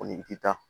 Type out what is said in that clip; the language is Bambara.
i bɛ taa